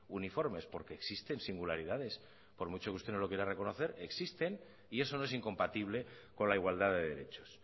uniformes porque existen singularidades por mucho que usted no lo quiera reconocer existen y eso no es incompatible con la igualdad de derechos